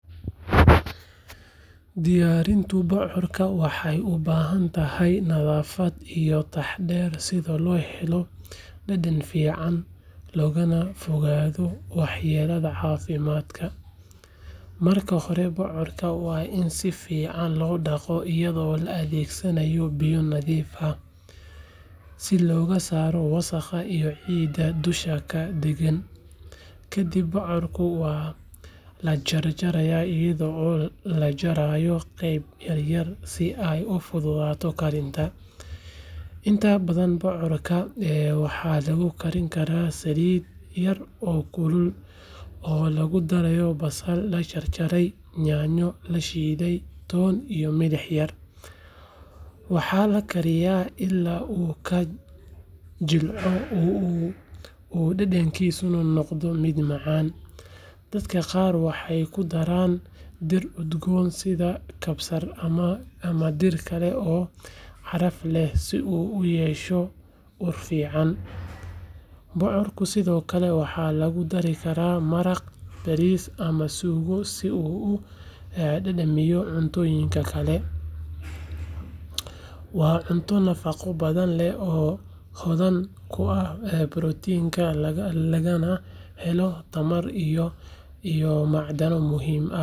Diyarinta bocorka waxee ugu bahan tahay nadhafaad iyo taxaadar sitha lo helo dul dadan fican logana fogaado wax yala hasi dadka marka hore bocorka waa in sifican lo daqo iyada oo la adhegsanayo biyo nadhif ah, si ee u fududato karinta, waxaa kaliya ila u ka jilco dadankisana u noqdo miid fican, bocorka waxaa lagu dari karaa cuntoyinka, waa cunto nafaqo badan leh oo kuwa borotinka laga na helo tamar iyo macdaro muhiim ah.